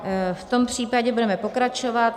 V tom případě budeme pokračovat.